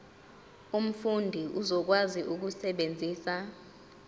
umfundi uzokwazi ukusebenzisa